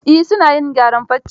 Eh, su na yin gyaran farce.